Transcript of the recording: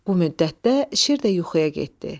Bu müddətdə şir də yuxuya getdi.